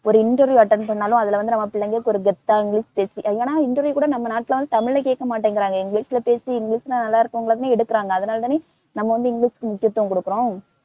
ஒரு interview attend பண்ணாலும் அதுல வந்து நம்ம பிள்ளைங்க ஒரு கெத்தா இங்கிலிஷ் பேசி ஏன்னா interview கூட நம்ம நாட்டுல வந்து தமிழ் ல கேக்கமாட்டேங்குறாங்க இங்கிலிஷ்ல பேசி இங்கிலிஷ் தான் எடுக்குறாங்க அதனாலதானே நம்ம வந்து இங்கிலிஷுக்கு முக்கியத்துவம் கொடுக்கறோம்.